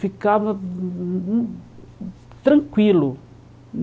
Ficava tranquilo.